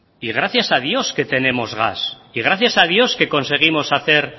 y gracias a dios que tenemos gas y gracias a dios que conseguimos hacer